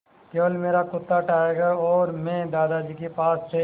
केवल मेरा कुत्ता टाइगर और मैं दादाजी के पास थे